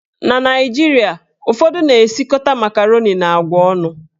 Na Naijiria, ụfọdụ na esikọta makaroni na agwa ọnụ.